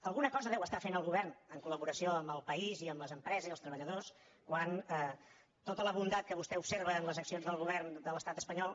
alguna cosa deu estar fent el govern en col·laboració amb el país i amb les empreses i els treballadors quan tota la bondat que vostè observa en les accions del govern de l’estat espanyol